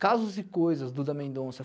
Casos e coisas, Duda Mendonça.